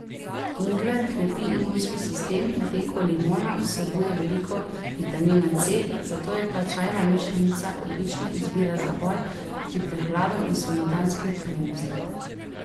Ingver krepi imunski sistem, medtem ko limona vsebuje veliko vitamina C, zato je ta čajna mešanica odlična izbira za boj proti prehladom in spomladanski utrujenosti.